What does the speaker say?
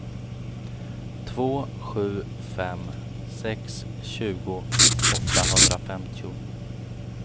två sju fem sex tjugo åttahundrafemtio